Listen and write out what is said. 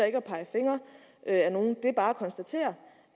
ikke at pege fingre ad nogen det er bare at konstatere